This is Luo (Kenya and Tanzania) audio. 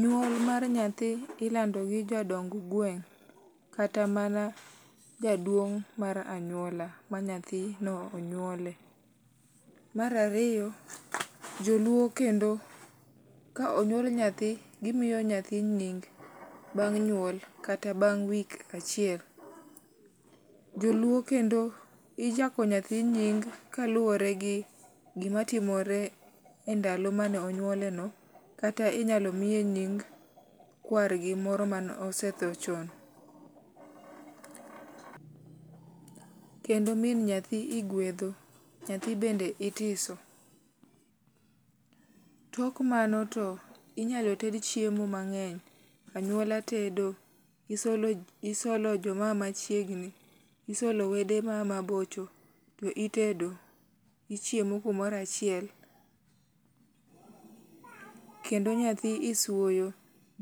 nyuol mar nyathi ilando gi jodong gueng kata mana jaduong mar anyuola manyathino onyuole . marariyo joluo kendo kaonyuol nyathi gimiyo nyathi nying bang nyuol kata bang week achiel. joluo kendo ichako nyathi nying kaluwore gi gma timore endalo mane onyuoleno kata inyalo miye nying kwar gi moro manosethoo chon kendo min nyathi iguedho, nyathi bende itiso. tok mano to inyalo ted chiemo mangeny, anyuola tedo, isolo joma aa machiegni, isolo wede ma aa mabocho to itedo ,ichiemo kumoro achiel kendo nyathi iswoyo